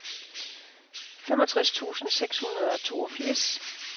femogtres tusind seks hundrede og toogfirs